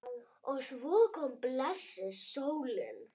Og svo kom blessuð sólin!